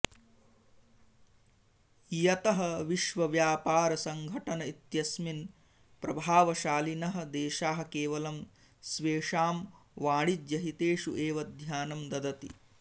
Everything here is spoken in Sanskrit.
यतः विश्व व्यापार सङ्गठन इत्यस्मिन् प्रभावशालिनः देशाः केवलं स्वेषां वाणिज्यहितेषु एव ध्यानं ददति